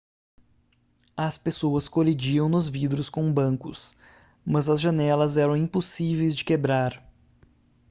as pessoas colidiam nos vidros com bancos mas as janelas eram impossíveis de quebrar